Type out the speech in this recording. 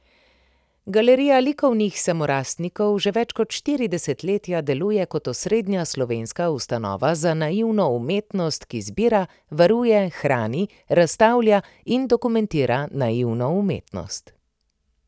Galerija likovnih samorastnikov že več kot štiri desetletja deluje kot osrednja slovenska ustanova za naivno umetnost, ki zbira, varuje, hrani, razstavlja in dokumentira naivno umetnost.